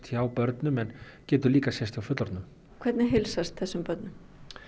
hjá börnum en getur líka sést hjá fullorðnum hvernig heilsast þessum börnum